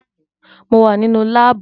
Mo wà nínú láàbù